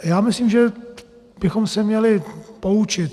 Já myslím, že bychom se měli poučit.